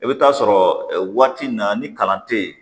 I bɛ taa sɔrɔ waati na ni kalan tɛ yen